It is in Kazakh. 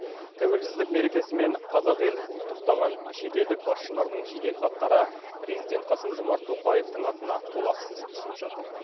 тәуелсіздік мерекесімен қазақ елін құттықтаған шетелдік басшылардың жеделхаттары президент қасым жомарт тоқаевтың атына толассыз түсіп жатыр